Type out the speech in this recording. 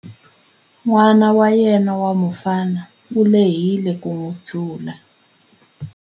N'wana wa yena wa mufana u lehile ku n'wi tlula.